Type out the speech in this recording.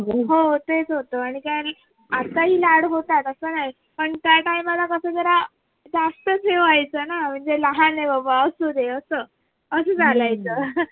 हो तेच होत आणि काय आत्ता हि लाड होतात अस नाही पण काही काही वेळेला कस जरा जास्तच हे व्हायचं न म्हणजे लहान आहे बाबा असुदे अस अस चालायचं.